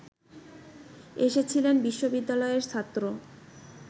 এসেছিলেন বিশ্ববিদ্যালয়ের ছাত্র